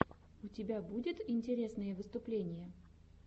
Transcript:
у тебя будет интересные выступления